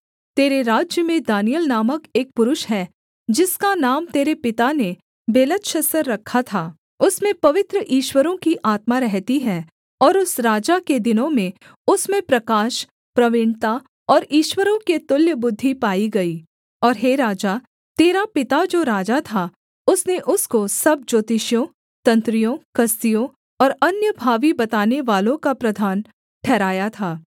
तेरे राज्य में दानिय्येल नामक एक पुरुष है जिसका नाम तेरे पिता ने बेलतशस्सर रखा था उसमें पवित्र ईश्वरों की आत्मा रहती है और उस राजा के दिनों में उसमें प्रकाश प्रवीणता और ईश्वरों के तुल्य बुद्धि पाई गई और हे राजा तेरा पिता जो राजा था उसने उसको सब ज्योतिषियों तंत्रियों कसदियों और अन्य भावी बतानेवालों का प्रधान ठहराया था